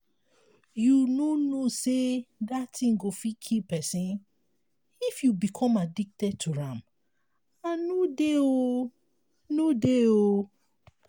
you no know say dat thing go fit kill person. if you become addicted to am i no dey oo no dey oo